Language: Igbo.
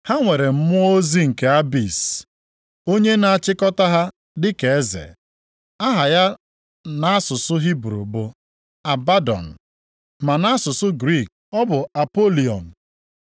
Ha nwere mmụọ ozi nke Abis, + 9:11 Olulu nke omimi ya na-enweghị nsọtụ. onye na-achịkọta ha dịka eze. Aha ya nʼasụsụ Hibru bụ Abadọn, ma nʼasụsụ Griik ọ bụ Apolion. + 9:11 Ya bụ Onye Mbibi